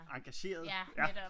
Engagerede ja